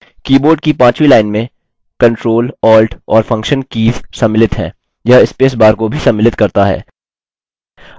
keyboard की पांचवी line में ctrl alt और फंक्शन कीज़ सम्मिलित हैं यह स्पेस बार को भी सम्मिलित करता है